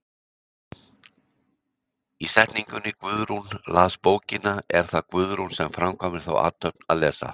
Í setningunni Guðrún las bókina er það Guðrún sem framkvæmir þá athöfn að lesa.